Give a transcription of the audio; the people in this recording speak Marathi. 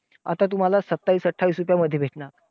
आता तुम्हांला सत्तावीस, अठ्ठावीस रुपयामध्ये भेटणार.